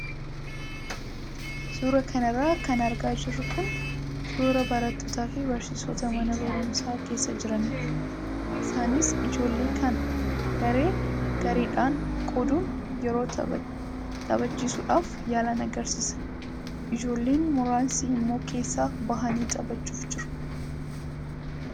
Suuraa kanarra kan argaa jirru kun suuraa barattootaa fi barsiisota mana barumsaa keessa jiranidha. Isaanis ijoollee kana garee gareedhaan qooduun yeroo taphachiisuudhaaf yaalan agarsiisa. Ijoolleen muraasni immoo keessaa bahanii taphachuuf jiru.